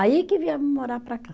Aí que viemos morar para cá.